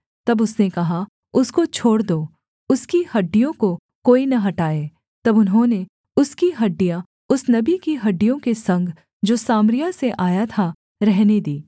तब उसने कहा उसको छोड़ दो उसकी हड्डियों को कोई न हटाए तब उन्होंने उसकी हड्डियाँ उस नबी की हड्डियों के संग जो सामरिया से आया था रहने दीं